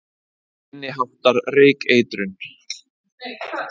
Minni háttar reykeitrun